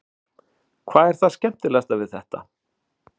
Þórhildur: Hvað er það skemmtilegasta við þetta?